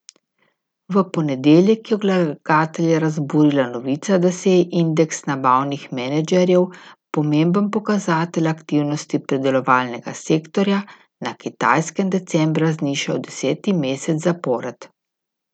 V ponedeljek je vlagatelje razburila novica da se je indeks nabavnih menedžerjev, pomemben pokazatelj aktivnosti predelovalnega sektorja, na Kitajskem decembra znižal deseti mesec zapored.